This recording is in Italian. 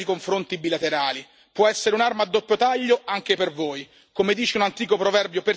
Come dice un antico proverbio persiano, se il gatto e il topo trovano l'accordo, il droghiere è rovinato.